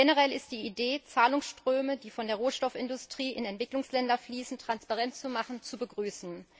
Generell ist die Idee, Zahlungsströme, die von der Rohstoffindustrie in Entwicklungsländer fließen, transparent zu machen, zu begrüßen.